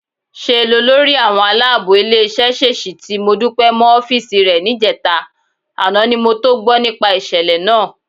Ṣe lolórí àwọn aláàbò ilé-iṣẹ́ ṣèṣì ti Modúpẹ́ mọ́ ọ́fíìsì rẹ níjẹta, àná ni mo tó gbọ́ nípa ìṣẹ̀lẹ̀ náà.